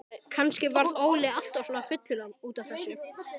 Kannski varð Óli alltaf svona fullur út af þessu.